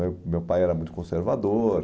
Meu meu pai era muito conservador.